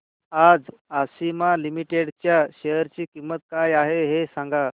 आज आशिमा लिमिटेड च्या शेअर ची किंमत काय आहे हे सांगा